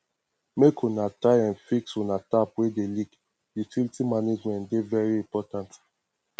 make una try um fix una tap wey dey leak utilities management dey very important